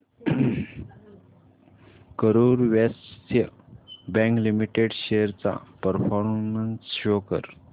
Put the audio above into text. Karur Vysya bank limited shares चा performance show कर